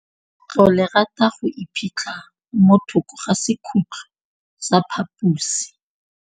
Legôtlô le rata go iphitlha mo thokô ga sekhutlo sa phaposi.